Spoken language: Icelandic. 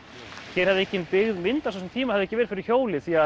hér hefði engin byggð myndast á þessum tíma hefði ekki verið fyrir hjólið því